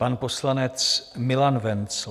Pan poslanec Milan Wenzl.